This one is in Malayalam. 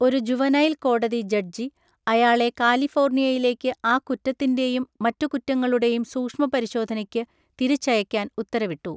ഒരു ജുവനൈൽ കോടതി ജഡ്ജി അയാളെ കാലിഫോർണിയയിലേക്ക് ആ കുറ്റത്തിൻ്റെയും മറ്റു കുറ്റങ്ങളുടെയും സൂഷ്മപരിശോധനയ്ക്ക് തിരിച്ചയക്കാൻ ഉത്തരവിട്ടു.